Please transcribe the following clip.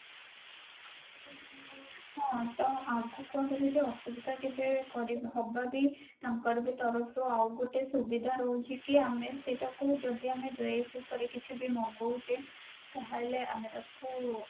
ହଁ ତ ଆମକୁ ଅସୁବିଧା କେବେ କରି ହବାବି ତାଙ୍କର ବି ତରଫରୁ ଆଉ ଗୋଟେ ସୁବିଧା ରହୁଛି କି ଆମେ ସେଇଟା କୁ ଯଦି ଆମେ dress ଉପରେ କିଛି ବି ମଗୋଉଛେ ତାହେଲେ ଆମେ ତାକୁ